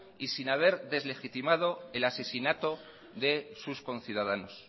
y sin haber deslegitimado el asesinato de sus conciudadanos